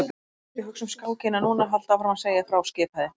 Vertu ekki að hugsa um skákina núna, haltu áfram að segja frá skipaði